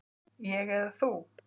Ég eða þú?